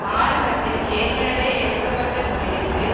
ஆரம்பத்தில் ஏற்கனவே எடுக்க பட்ட முடிவிற்கு